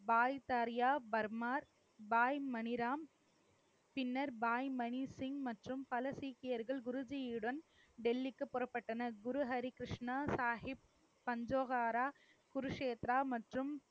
பாய் தரியா பர்மா, பாய் மணிராம் பின்னர் பாய் மணி சிங் மற்றும் பல சீக்கியர்கள் குருஜியுடன் டெல்லிக்கு புறப்பட்டனர். குரு ஹரிகிருஷ்ணா சாகிப், பஞ்சோஹாரா, குருஷேத்ரா மற்றும்